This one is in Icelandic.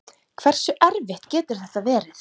Hversu erfitt getur þetta verið?